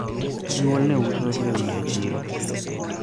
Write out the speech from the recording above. jonyuol ne uso lewni e chiro